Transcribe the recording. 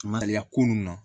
Maliya ko nun na